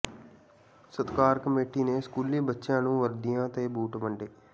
ਸਤਿਕਾਰ ਕਮੇਟੀ ਨੇ ਸਕੂਲੀ ਬੱਚਿਆਂ ਨੂੰ ਵਰਦੀਆਂ ਤੇ ਬੂਟ ਵੰਡੇ